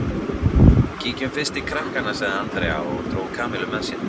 Kíkjum fyrst til krakkanna sagði Andrea og dró Kamillu með sér.